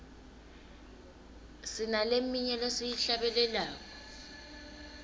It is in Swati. sinaleminye lesiyihlabelelako